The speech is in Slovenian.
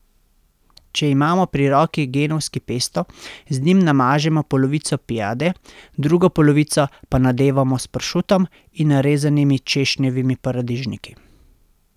Če imamo pri roki genovski pesto, z njim namažemo polovico piade, drugo polovico pa nadevamo s pršutom in narezanimi češnjevimi paradižniki.